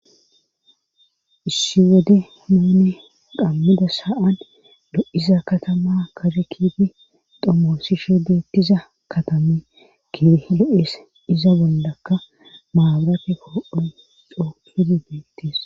Issi wode muune qammida saan do'iza katama karekiti domosishe deettiza katame ki do7es iza bollakka maabarafe poo'oyn coopini beettees